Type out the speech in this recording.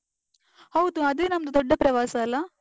ಹೌದು, ಅದೇ ನಮ್ದು ದೊಡ್ಡ ಪ್ರವಾಸ ಅಲ್ಲಾ?